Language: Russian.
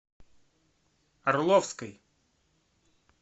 орловской